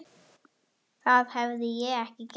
Það hefði ég ekki gert.